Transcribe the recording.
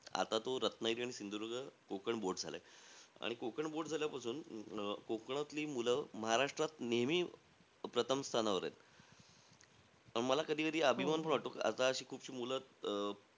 आता तो रत्नागिरी आणि सिंधुदुर्ग कोकण board झालायं. कोकण board झाल्यापासून अं कोकणातली मुलं महाराष्ट्रात नेहमी प्रथम स्थानावर आहेत. मला कधी-कधी अभिमान पण वाटतो. आता अशी खूपशी मुलं,